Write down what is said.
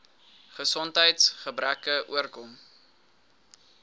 gesondheids gebreke oorkom